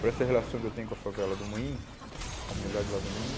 para essa relação que eu tenho com a favela do Moinho, com a comunidade lá do Moinho.